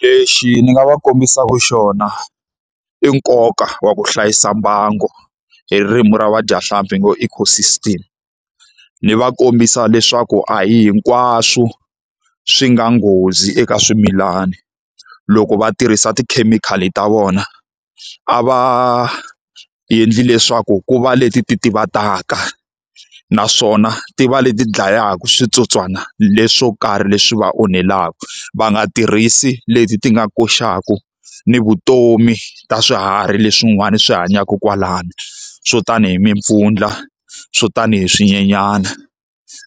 Lexi ni nga va kombisaka xona i nkoka wa ku hlayisa mbango, hi ririmi ra vadyahlampfi hi ngo ecosystem. Ni va kombisa leswaku a hi hinkwaswo swi nga nghozi eka swimilana. Loko va tirhisa tikhemikhali ta vona, a va endli leswaku ku va leti ti titivataka naswona ti va leti dlayaka switsotswana leswo ka karhi leswi va onhelaka. Va nga tirhisi leti ti nga koxaka ni vutomi ta swiharhi leswin'wana swi hanyaka kwalano, swo tani hi mimpfundla, swo tani hi swinyenyana,